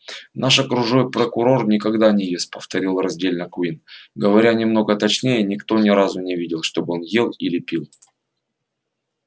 наш окружной прокурор никогда не ест повторил раздельно куинн говоря немного точнее никто ни разу не видел чтобы он ел или пил